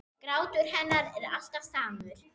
Grátur hennar er alltaf samur.